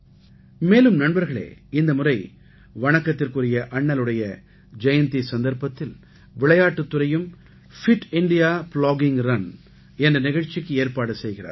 மேலும் நண்பர்களே இந்த முறை வணக்கத்துக்குரிய அண்ணலோட ஜெயந்தி சந்தர்ப்பத்தில் விளையாட்டுத் துறையும் பிட் இந்தியா ப்ளாகிங் ரன் என்ற நிகழ்ச்சிக்கு ஏற்பாடு செய்கிறார்கள்